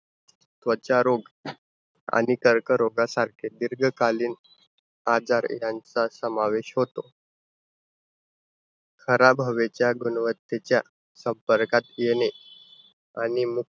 त्वचा रोग आणि कर्करोगासारखे दीर्घकालीन आजार यांचा समावेश होतो. खराब हवेच्या गुणवत्तेच्या संपर्कात येणे आणि